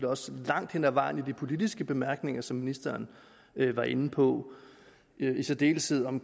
også langt hen ad vejen i de politiske bemærkninger som ministeren var inde på i særdeleshed om